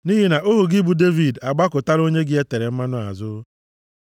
Nʼihi ohu gị, bụ Devid, agbakụtala onye gị e tere mmanụ azụ.